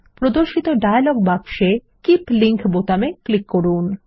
প্রদর্শিত ডায়লগ বক্সে keep link বোতামে ক্লিক করুন